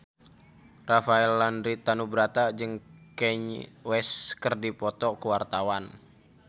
Rafael Landry Tanubrata jeung Kanye West keur dipoto ku wartawan